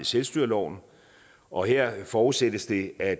selvstyreloven og her forudsættes det at